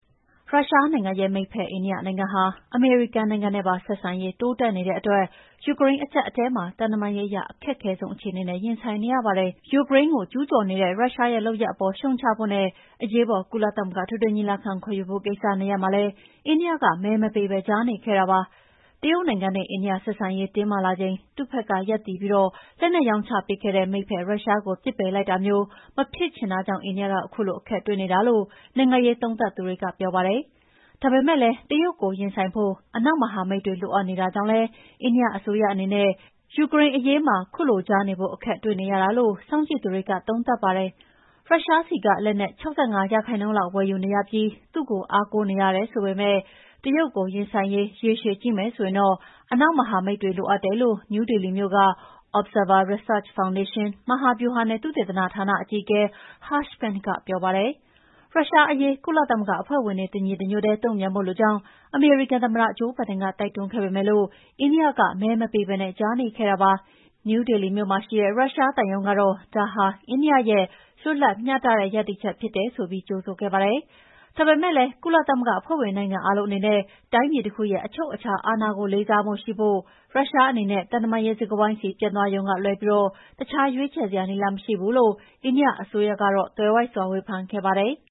ရုရှားနိုင်ငံရဲ့မိတ်ဖက်အိန္ဒိယနိုင်ငံဟာ အမေရိကန်နိုင်ငံနဲ့ပါဆက်ဆံရေးတိုးတက်နေတဲ့အတွက် ယူကရိန်းအကြပ်အတည်းမှာ သံတမန်ရေးအရ အခက်ခဲဆုံးအခြေအနေနဲ့ရင်ဆိုင်နေရပါတယ်။ ယူကရိန်းကိုကျူးကျော်နေတဲ့ရုရှားရဲ့လုပ်ရပ်အပေါ်ရှုတ်ချဖို့နဲ့ အရေးပေါ် ကုလသမဂ္ဂအထွေထွေညီလာခံ ခေါ်ယူဖို့ ကိစ္စနှစ်ရပ်မှာလည်း အိန္ဒိယက မဲမပေးပဲကြားနေခဲ့ပါတယ်။ တရုတ်နိုင်ငံနဲ့အိန္ဒိယ ဆက်ဆံရေးတင်းမာလာချိန် သူ့ဘက်ကရပ်တည်ပြီး လက်နက်ရောင်းချပေးခဲ့တဲ့ မိတ်ဘက် ရုရှားကို ပစ်ပယ်လိုက်တာမျိုးမဖြစ်ချင်တဲ့အတွက် အိန္ဒိယက ခုလိုအခက်တွေ့နေတာလို့ နိုင်ငံရေးသုံးသပ်သူတွေက ပြောပါတယ်။ ဒါပေမယ့်လည်း တရုတ်ကို ရင်ဆိုင်ဖို့ အနောက်မဟာမိတ်တွေ လိုအပ်နေတာကြောင့် အိန္ဒိယအစိုးရအနေနဲ့ ယူကရိန်းအရေးမှာ ခုလိုကြားနေဖို့ အခက်တွေ့နေရတာလု့ိ စောင့်ကြည့်သူတွေက သုံးသပ်ပါတယ်။ ရုရှားဆီကလက်နက် ၆၅ ရာခိုင်နှုန်းလောက် ဝယ်ယူနေရပြီးသူ့ကိုအားကိုးနေရတယ်ဆိုပေမယ့် တရုတ်ကိုရင်ဆိုင်ရေး ရေရှည်ကြည့်မယ်ဆိုရင်တော့ အနောက်မဟာမိတ်တွေ လိုအပ်တယ်လို့ နယူးဒေလီမြို့က Observer Research Foundation၊ မဟာဗျူဟာနဲ့ သုတေသနဌာန အကြီးအကဲ Harsh Pant ကပြောပါတယ်။ ရုရှားအရေး ကုလသမဂ္ဂအဖွဲ့ဝင်တွေ တညီတညွှတ်ထဲတုန့်ပြန်ဖို့လိုကြောင်း အမေရိကန်သမ္မတ ဂျိုးဘိုင်ဒန်ကတိုက်တွန်းခဲ့ပေမယ့်အိန္ဒိယက မဲမပေးဘဲ ကြားနေခဲ့တာပါ။ နယူးဒေလီမြို့မှာရှိတဲ့ ရုရှားသံရုံးကတော့ ဒါဟာ အိန္ဒိယရဲ့ လွတ်လပ်မျှတတဲ့ ရပ်တည်ချက်ဖြစ်တယ်ဆိုပြီး ကြိုဆိုခဲ့ပါတယ်။ ဒါပေမယ့်လည်း ကုလသမဂ္ဂအဖွဲ့ဝင်နိုင်ငံအားလုံးအနေနဲ့ တိုင်းပြည်တခုရဲ့အချုပ်အခြာအာဏာကို လေးစားမှုရှိဖို့နဲ့ ရုရှားအနေနဲ့ သံတမန်ရေးစကားဝိုင်းဆီပြန်သွားရုံကလွဲပြီး တခြားရွေးချယ်စရာနည်းလမ်းမရှိဘူးလို့ အိန္ဒိယအစိုးရက သွယ်ဝိုက်စွာ ဝေဖန်ခဲ့ပါတယ်။